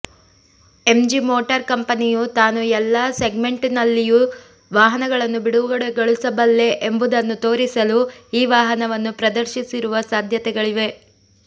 MG motor ಕಂಪನಿಯು ತಾನು ಎಲ್ಲಾ ಸೆಗ್ಮೆಂಟ್ನಲ್ಲಿಯೂ ವಾಹನಗಳನ್ನು ಬಿಡುಗಡೆಗೊಳಿಸಬಲ್ಲೆ ಎಂಬುದನ್ನು ತೋರಿಸಲು ಈ ವಾಹನವನ್ನು ಪ್ರದರ್ಶಿಸಿರುವ ಸಾಧ್ಯತೆಗಳಿವೆ